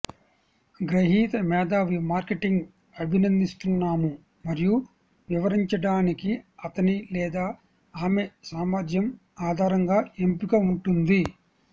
గ్రహీత మేధావి మార్కెటింగ్ అభినందిస్తున్నాము మరియు వివరించడానికి అతని లేదా ఆమె సామర్థ్యం ఆధారంగా ఎంపిక ఉంటుంది